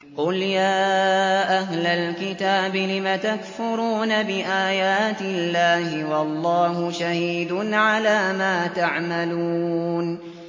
قُلْ يَا أَهْلَ الْكِتَابِ لِمَ تَكْفُرُونَ بِآيَاتِ اللَّهِ وَاللَّهُ شَهِيدٌ عَلَىٰ مَا تَعْمَلُونَ